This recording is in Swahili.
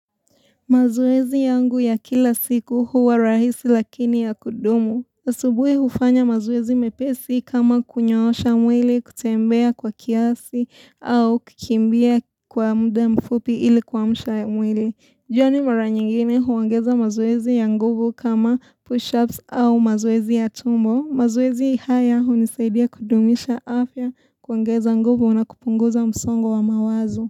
Mazoezi yangu ya kila siku huwa rahisi lakini ya kudumu. Asubuhi hufanya mazoezi mepesi kama kunyoosha mwili kutembea kwa kiasi au kukimbia kwa muda mfupi ili kuamsha mwili. Jioni mara nyingine huongeza mazoezi ya nguvu kama push-ups au mazoezi ya tumbo. Mazoezi haya hunisaidia kudumisha afya kuangeza nguvu na kupunguza msongo wa mawazo.